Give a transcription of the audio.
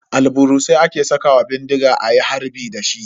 Albarusai ake sakawa bindiga ayi harbi dashi.